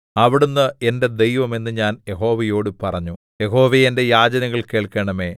അവിടുന്ന് എന്റെ ദൈവം എന്ന് ഞാൻ യഹോവയോടു പറഞ്ഞു യഹോവേ എന്റെ യാചനകൾ കേൾക്കണമേ